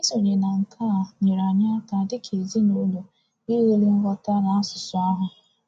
Isonye na nke a nyere anyị aka dị ka ezinụlọ iwuli nghọta n’asụsụ ahụ.